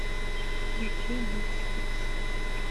включить битстикс